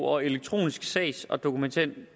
og elektronisk sags og dokumenthåndtering